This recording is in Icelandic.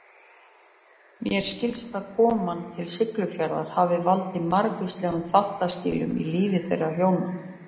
Mér skilst að koman til Siglufjarðar hafi valdið margvíslegum þáttaskilum í lífi þeirra hjóna.